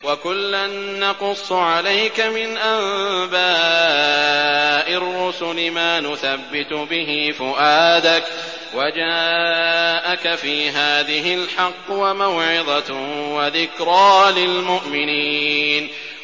وَكُلًّا نَّقُصُّ عَلَيْكَ مِنْ أَنبَاءِ الرُّسُلِ مَا نُثَبِّتُ بِهِ فُؤَادَكَ ۚ وَجَاءَكَ فِي هَٰذِهِ الْحَقُّ وَمَوْعِظَةٌ وَذِكْرَىٰ لِلْمُؤْمِنِينَ